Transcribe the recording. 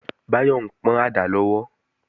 Báyọ̀ ń pọ́n àdá lọ́wọ́